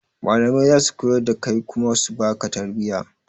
Malamai zasu koyar da kai kuma su baka tarbiya